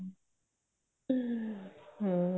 ਹਮ ਹਮ